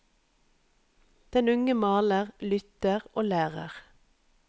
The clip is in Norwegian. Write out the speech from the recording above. Den unge maler, lytter og lærer.